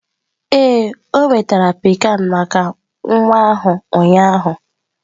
Ee, ọ nwetara pikan maka nwa ahụ ụnyaahụ.